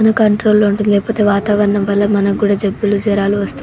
మన కంట్రోల్ లో ఉంటాది లేకపోతే వాతావరణం వల్ల మనకు కూడా జాలుబులు జరాలు వస్తాయ్.